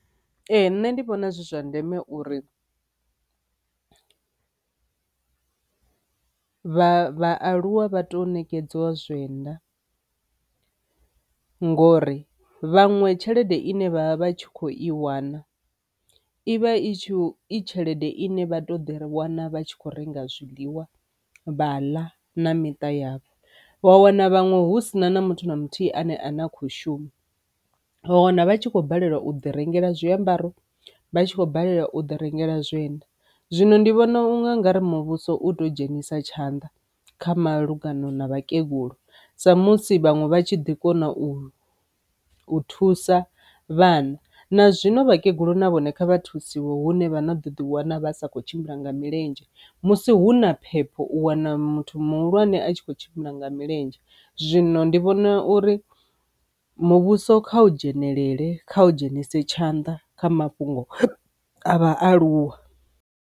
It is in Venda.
Ee nṋe ndi vhona zwi zwa ndeme uri vha aluwa vha tou ṋekedziwa zwienda ngori vhanwe tshelede ine vha vha vha tshi kho i wana ivha i tshi i tshelede ine vha to ḓi wana vha tshi kho renga zwiḽiwa vha ḽa na miṱa yavho, wa wana vhaṅwe hu sina na muthu na muthihi ane a ne a khou shuma, wa wana vhatshi kho balelwa u ḓi rengela zwiambaro, vhatshi kho balelwa u ḓi rengela zwiendawi. Zwino ndi vhona unga nga ri muvhuso u tea u dzhenisa tshanḓa kha malugana na vhakegulu sa musi vhaṅwe vha tshi ḓi kona u u thusa vhana na zwino vhakegulu na vhone kha vha thusiwa hune vha ḓo ḓi wana vha sa khou tshimbila nga milenzhe, musi huna phepho u wana muthu muhulwane a tshi kho tshimbila nga milenzhe. Zwino ndi vhona uri muvhuso kha u dzhenelele kha u dzhenise tshanḓa kha mafhungo a vhaaluwa.